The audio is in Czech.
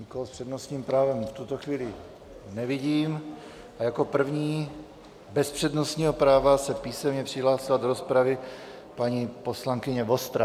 Nikoho s přednostním právem v tuto chvíli nevidím a jako první bez přednostního práva se písemně přihlásila do rozpravy paní poslankyně Vostrá.